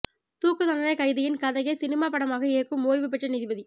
தூக்கு தண்டனை கைதியின் கதையை சினிமா படமாக இயக்கும் ஓய்வு பெற்ற நீதிபதி